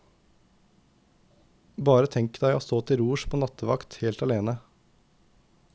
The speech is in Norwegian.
Bare tenk deg å stå til rors på nattevakt helt alene.